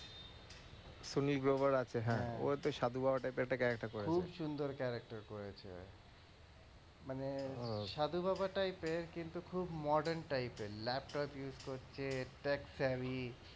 সুনীল গ্লোবার আছে ও ওতো সাধুবাবা type এর character করেছে খুব সুন্দর character করেছে মানে সাধু বাবা type এর কিন্তু খুব modern type এর laptop use করছে